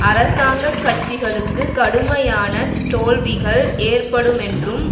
அரசாங்க கட்சிகளுக்கு கடுமையான தோல்விகள் ஏற்படுமென்றும்